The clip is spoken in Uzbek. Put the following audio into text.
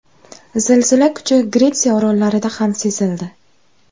Zilzila kuchi Gretsiya orollarida ham sezildi.